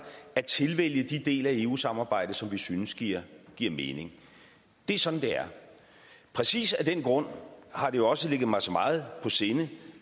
at tilvælge de dele af eu samarbejdet som vi synes giver giver mening det er sådan det er præcis af den grund har det også ligget mig så meget på sinde